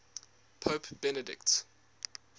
pope benedict